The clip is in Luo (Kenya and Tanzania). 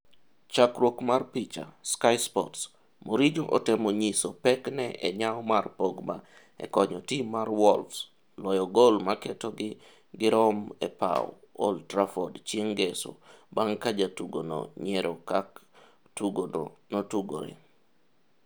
Chakruok mar picha, Sky sports. Mourinho otemo nyiso pekne e nyawo mar Pogba e konyo tim mar Wolves loyo gol maketogi girom epaw Old Trafford chieng' ngeso bang' ka jatugono nyiero kak tugo no notugore.